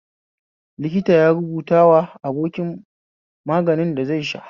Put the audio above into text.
Likita ya rubawa abokin maganin da zai sha